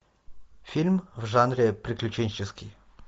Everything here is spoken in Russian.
фильм в жанре приключенческий